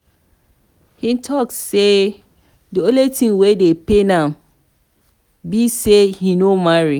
he talk say the only thing wey dey pain am be say he no marry.